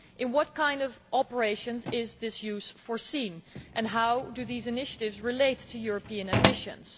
In what kind of operations is its use foreseen and how do these initiatives relate to European ambitions?